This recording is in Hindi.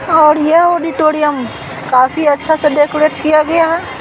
और ये ऑडिटोरियम काफी अच्छा से डेकोरेट किया गया है।